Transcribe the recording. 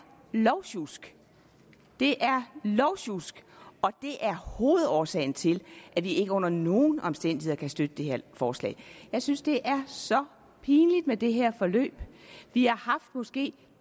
lovsjusk det er lovsjusk og det er hovedårsagen til at vi ikke under nogen omstændigheder kan støtte det her forslag jeg synes det er så pinligt med det her forløb vi har haft måske